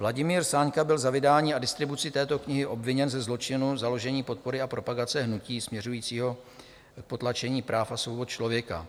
Vladimír Sáňka byl za vydání a distribuci této knihy obviněn ze zločinu založení, podpory a propagace hnutí směřujícího k potlačení práv a svobod člověka.